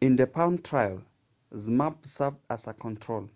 in the palm trial zmapp served as a control